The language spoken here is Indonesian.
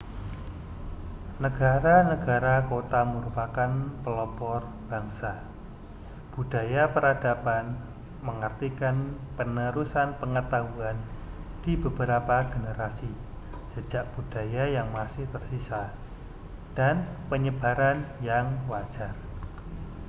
negara-negara kota merupakan pelopor bangsa budaya peradaban mengartikan penerusan pengetahuan di beberapa generasi jejak budaya yang masih tersisa dan penyebaran yang wajar